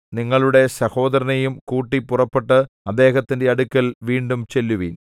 നിങ്ങളുടെ സഹോദരനെയും കൂട്ടി പുറപ്പെട്ട് അദ്ദേഹത്തിന്റെ അടുക്കൽ വീണ്ടും ചെല്ലുവിൻ